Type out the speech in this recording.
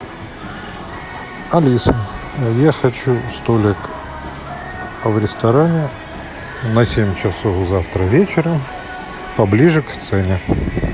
алиса я хочу столик в ресторане на семь часов завтра вечером поближе к сцене